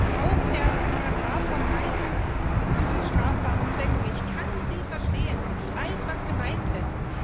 Zum Paragraphen vom Reisen zu strafbaren Zwecken Ich kann Sie verstehen, ich weiß was gemeint ist.